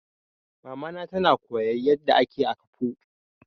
Mama na ta koya yadda ake akpu.